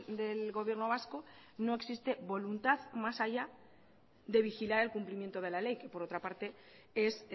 del gobierno vasco no existe voluntad más allá de vigilar el cumplimiento de la ley que por otra parte es